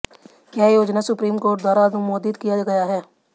यह योजना supreme court द्वारा अनुमोदित किया गया है